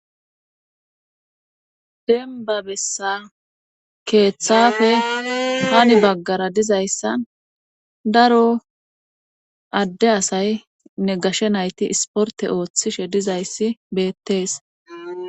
Dembba bessan keethafe hani baggara dizayssan daro adde asaynne gashe nayti ispportte oothishe dizayssi beettees.